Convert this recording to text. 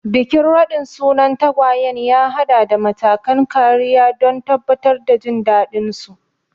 Bikin raɗin sunan tagwayen ya haɗa da matakan kariya don tabbatar da jin daɗinsu.